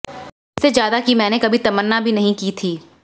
इससे ज्यादा की मैंने कभी तमन्ना भी नहीं की थी